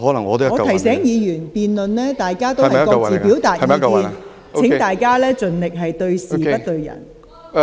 我提醒議員，各位在辯論中表達意見時，應盡量對事不對人。